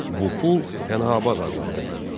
Bu pul Pənahabad adlanırdı.